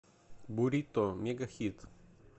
бурито мегахит